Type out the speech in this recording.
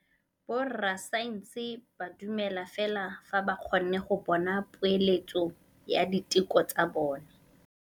Borra saense ba dumela fela fa ba kgonne go bona poeletsô ya diteko tsa bone.